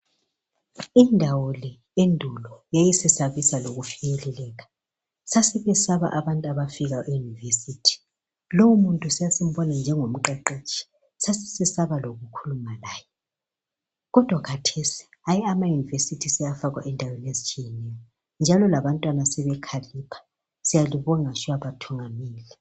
Indawo le endulo yayisesabisa lokufinyeleleka .Sasibesaba abantu abafika euniversity lowo muntu sasimbona njengo mqeqetshi .Sasi sesaba loku khuluma laye Kodwa khathesi hayi amauniversity sewafakwa endaweni ezitshiyeneyo .Njalo labantwana sebekhalipha .Siyalibonga shuwa bathungameli.